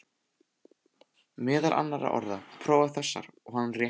Meðal annarra orða, prófaðu þessar, og hann rétti